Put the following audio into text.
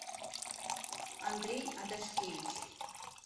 андрей адашкевич